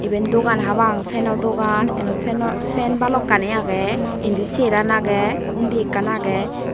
iben dogan habang fano dogan inyo fano fan balukkani agey indi cheraan agey undi ekkan agey.